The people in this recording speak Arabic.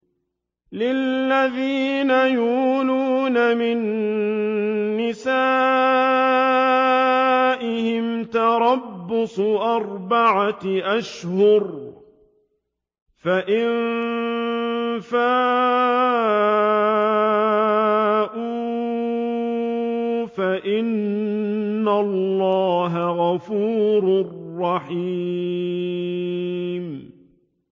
لِّلَّذِينَ يُؤْلُونَ مِن نِّسَائِهِمْ تَرَبُّصُ أَرْبَعَةِ أَشْهُرٍ ۖ فَإِن فَاءُوا فَإِنَّ اللَّهَ غَفُورٌ رَّحِيمٌ